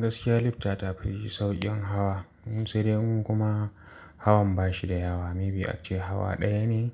Gaskiya lifta ta fi sauƙin hawa, sai dai in kuma hawan ba shi da yawa, maybe ace hawa ɗaya ne